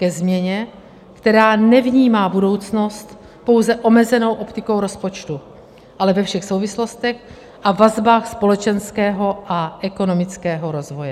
Ke změně, která nevnímá budoucnost pouze omezenou optikou rozpočtu, ale ve všech souvislostech a vazbách společenského a ekonomického rozvoje.